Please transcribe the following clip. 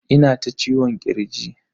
Ina ta ciwon kirji.